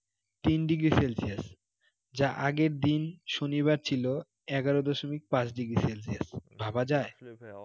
তিন degree celsius যা আগের দিন শনিবার ছিল এগার দশমিক পাঁচ degree celsius ভাবা যায়